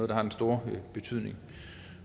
der har den store betydning